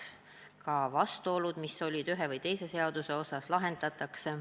Lahendatakse ka vastuolud, mis esinesid ühe või teise seaduse osas.